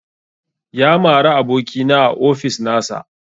Ya mara abokina a ofis nasa